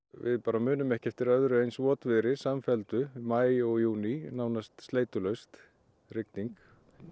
við bara munum ekki eftir öðru eins samfelldu maí og júní nánast sleitulaust rigning